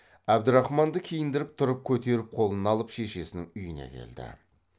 әбдірахманды киіндіріп тұрып көтеріп қолына алып шешесінің үйіне келді